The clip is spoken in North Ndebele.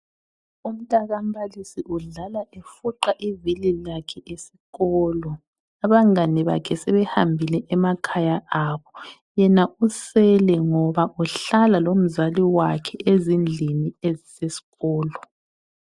Umtaka mbalisi udlala efuqa ivili lakhe esikolo, abangani bakhe sebehambile emakhaya abo, yena usele ngoba uhlala lomzali wakhe ezindlini ezisesikolo